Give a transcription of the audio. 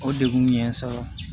O degun ye n sɔrɔ